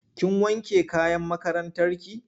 Kin wanke kayan makarantarki?